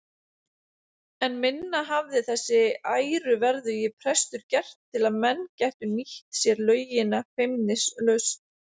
En minna hafði þessi æruverðugi prestur gert til að menn gætu nýtt sér laugina feimnislaust.